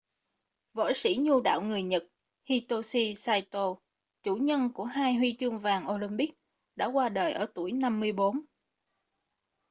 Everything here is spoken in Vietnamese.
võ sĩ nhu đạo người nhật hitoshi saito chủ nhân của hai huy chương vàng olympic đã qua đời ở tuổi 54